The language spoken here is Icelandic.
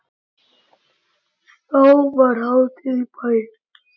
Þá var hátíð í bæ.